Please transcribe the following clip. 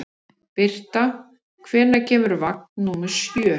Birta, hvenær kemur vagn númer sjö?